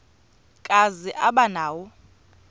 kazi aba nawo